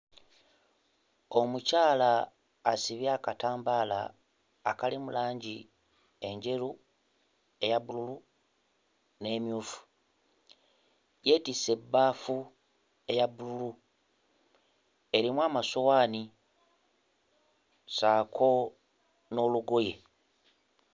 Omukyala asibye akatambala akalimu langi enjeru, eya bbulu n'emmyufu, yeetisse ebbaafu eya bbulu erimu amasowaani ssaako n'olugoye.